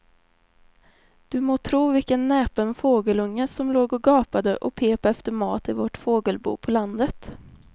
Du må tro vilken näpen fågelunge som låg och gapade och pep efter mat i vårt fågelbo på landet.